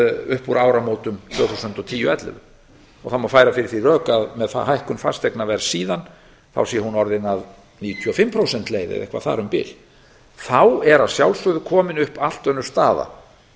upp úr áramótum tvö þúsund og tíu tvö þúsund og ellefu það má færa fyrir því rök að með hækkun fasteignaverðs síðan sé hún orðin að níutíu og fimm prósent leið eða eitthvað þar um bil þá er að sjálfsögðu komin upp allt önnur staða